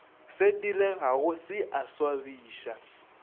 se diregago se a swabiša